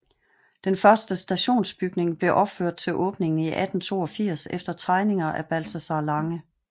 Den første stationsbygning blev opført til åbningen i 1882 efter tegninger af Balthazar Lange